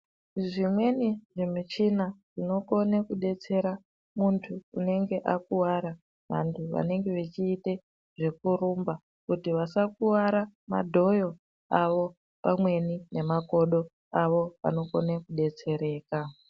Zvimweni zvimichina zvinokone kudetsera muntu unenge akuwara vantu vanenge vechiite zvekurumba kuti vasakuwara madhoyo avo pamweni nemakodo avo vanokone kudetsereka.